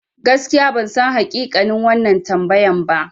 Gaskiya bansan hakikanin wannan tambayan ba.